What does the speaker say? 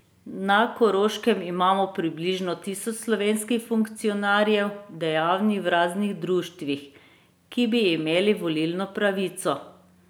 Na Koroškem imamo približno tisoč slovenskih funkcionarjev, dejavnih v raznih društvih, ki bi imeli volilno pravico.